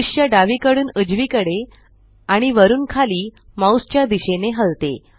दृष्य डावीकडून उजवीकडे आणि वरुन खाली माउस च्या दिशेने हलते